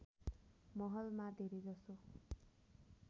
महलमा धेरै जसो